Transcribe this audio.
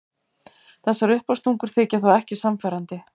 Þessar uppástungur þykja þó ekki sannfærandi.